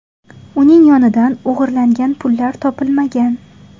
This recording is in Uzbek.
Uning yonidan o‘g‘irlangan pullar topilmagan.